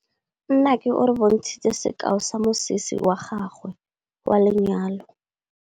Nnake o re bontshitse sekaô sa mosese wa gagwe wa lenyalo.